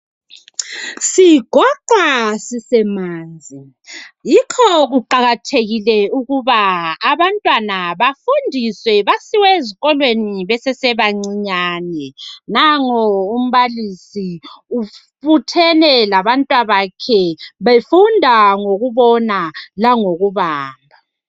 Sigoqwa sisemanzi yikho kuqakathekile ukuba abantwana bafundiswe basewe ezikolweni basesebancinyane. Nango umbalisi ubuthene labantwabakhe befunda ngokubona langokubala .